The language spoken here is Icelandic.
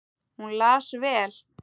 Hún las vel.